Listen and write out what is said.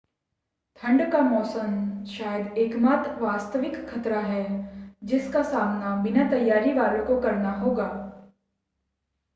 ठंड का मौसम शायद एकमात्र वास्तविक ख़तरा है जिसका सामना बिना तैयारी वालों को करना होगा